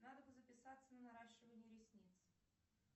надо бы записаться на наращивание ресниц